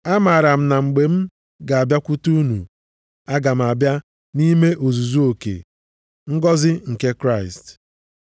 Amaara m na mgbe m ga-abịakwute unu, aga m abịa nʼime ozuzu oke ngọzị nke Kraịst.